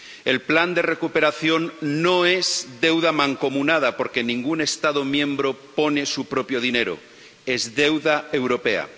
El plan de recuperación no es deuda mancomunada, porque ningún Estado miembro pone su propio dinero es deuda europea.